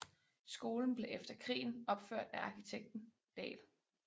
Skolen blev efter krigen opført af arkitekten Dahl